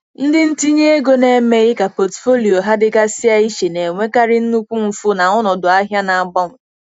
Ndị ntinye ego na-emeghị ka pọtụfoliyo ha dịgasịa iche na-enwekarị nnukwu mfu na ọnọdụ ahịa na-agbanwe.